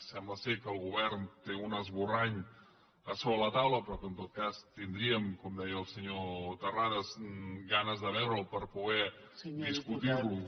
sembla que el govern té un esborrany sobre la taula però que en tot cas tindríem com deia el senyor terrades ganes de veure’l per poder discutir lo